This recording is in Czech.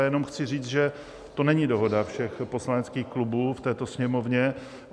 Já jenom chci říct, že to není dohoda všech poslaneckých klubů v této Sněmovně.